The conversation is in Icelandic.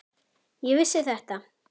Ég vissi þetta!